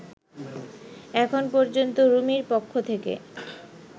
এখন পর্যন্ত রুমির পক্ষ থেকে